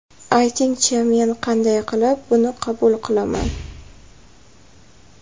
Aytingchi, men qanday qilib, buni qabul qilaman.